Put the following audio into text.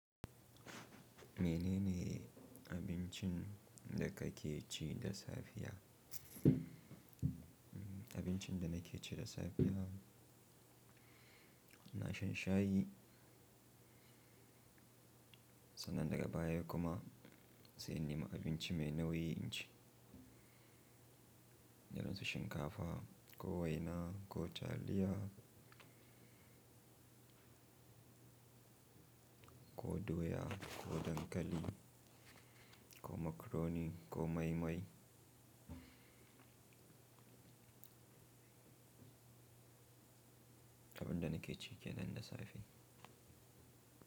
Menene abincin da kake ci da safiya? Abincin da nake ci da safiya, na shan shayi. Sannan daga baya kuma sai in nema abinci mai nauyi inci, kaman su shinkafa ko waina ko taliya ko doya ko dankali ko macaroni ko mai mai. Abin da nake ci ke nan da safe.